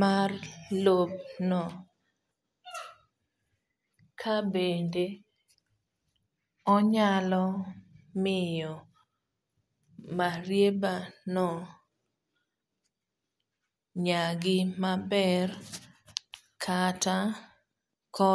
mar lob no ka bende onyalo miyo marieba no nyagi maber kata koso